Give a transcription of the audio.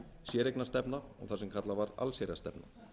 séreignarstefna þar sem kallað var allsherjarstefna